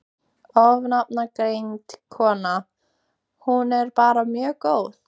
Ónafngreind kona: Hún er bara mjög góð?